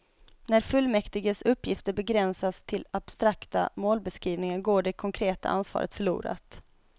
När fullmäktiges uppgifter begränsas till abstrakta målbeskrivningar går det konkreta ansvaret förlorat.